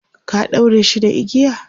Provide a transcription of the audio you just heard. ka ɗaure shi da igiya?